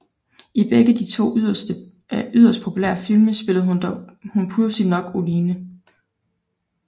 I begge de to yderst populære film spillede hun pudsigt nok Oline